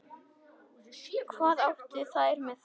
Hvað áttu þær með það?